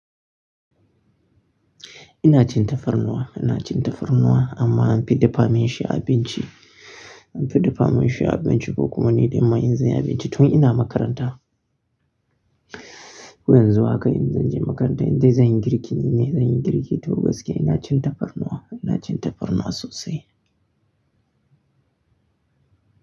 Ina cin tafarnuwa, ina cin tafarnuwa amma an fi dafa min shi a abinci. An fi dafa min shi a abinci ko kuma ni dai ma in zai yi abinci tun ina makaranta. Yanzu ma haka in, zan je makaranta indai zan yi girki ne, zan yi girki toh gaskiya ina cin tafarnuwa, ina cin tafarnuwa sosai.